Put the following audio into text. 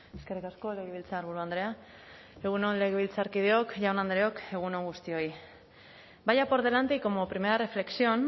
eskerrik asko legebiltzarburu andrea egun on legebiltzarkideok jaun andreok egun on guztioi vaya por delante y como primera reflexión